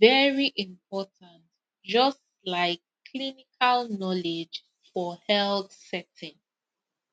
very important just like clinical knowledge for health setting